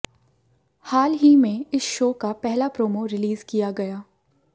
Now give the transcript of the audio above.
हाल ही में इस शो का पहला प्रोमो रिलीज किया गया